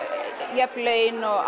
jöfn laun og